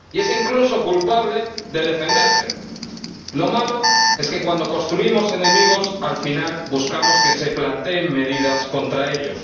y es incluso culpable de defenderse. Lo malo es que, cuando construimos enemigos, al final buscamos que se planteen medidas contra ellos.